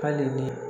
Hali ni